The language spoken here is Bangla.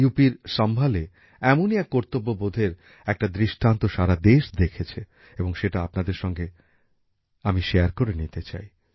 উত্তর প্রদেশের সম্ভালএ এমনই কর্তব্যবোধের একটা দৃষ্টান্ত সারা দেশ দেখেছে এবং সেটা আপনাদের সঙ্গে আমি ভাগ করে নিতে চাই